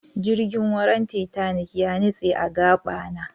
jirgin wuran titanic yanitse agabana